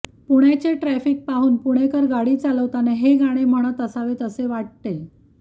पुण्याचे ट्रॅफ़िक पाहून पुणेकर गाडी चालवताना हे गाणे म्हणत असावेत असे वाटते